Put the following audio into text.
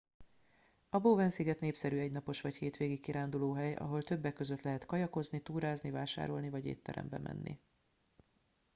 a bowen sziget népszerű egynapos vagy hétvégi kirándulóhely ahol többek között lehet kajakozni túrázni vásárolni vagy étterembe menni